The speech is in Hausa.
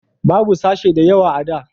babu sashe da yawa a da